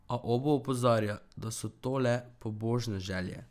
A Obu opozarja, da so to le pobožne želje.